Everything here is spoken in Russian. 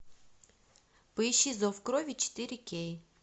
поищи зов крови четыре кей